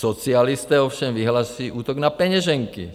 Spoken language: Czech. Socialisté ovšem vyhlásí útok na peněženky.